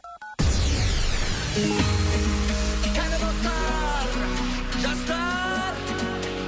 кәне достар жастар